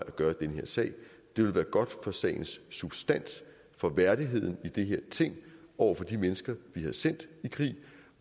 at gøre i den her sag det vil være godt for sagens substans for værdigheden i det her ting over for de mennesker vi har sendt i krig